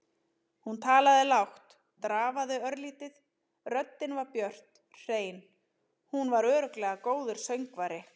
Hún talaði lágt, drafaði örlítið, röddin var björt, hrein- hún var örugglega góður söngvari.